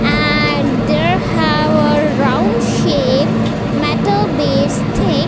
and there have a round shape metal based thing.